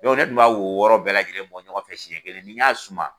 ne kun b'a wɔɔrɔ bɛɛ lajɛlen bɔ ɲɔgɔn fɛ siɲɛ kelen ni n y'a suman